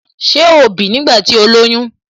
Ṣé ó ń bì nígbà tí ó lóyún?